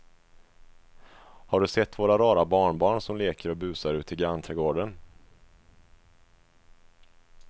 Har du sett våra rara barnbarn som leker och busar ute i grannträdgården!